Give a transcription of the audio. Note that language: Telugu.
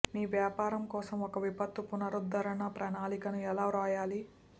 మీ వ్యాపారం కోసం ఒక విపత్తు పునరుద్ధరణ ప్రణాళికను ఎలా వ్రాయాలి